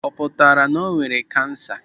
Ọ pụtara na o nwere kansa?